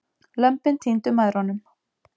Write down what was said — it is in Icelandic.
Lömbin týndu mæðrunum.